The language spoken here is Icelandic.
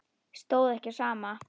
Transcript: Stóð ekki á sama.